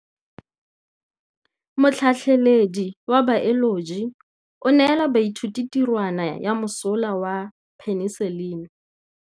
Motlhatlhaledi wa baeloji o neela baithuti tirwana ya mosola wa peniselene.